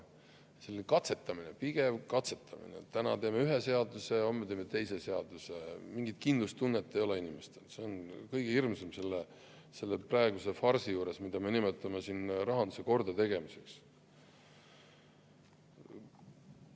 Selline pidev katsetamine, et täna teeme ühe seaduse ja homme teeme teise seaduse, nii et inimestel enam mingit kindlustunnet ei ole, on kõige hirmsam selle praeguse farsi juures, mida me nimetame rahanduse kordategemiseks.